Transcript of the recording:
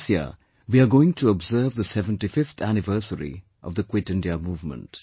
This year, we are going to observe the 75th Anniversary of the Quit India Movement